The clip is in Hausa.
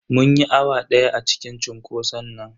Mun yi awa daya a cikin cunkoson nan.